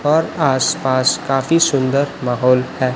और आसपास काफी सुंदर माहौल है।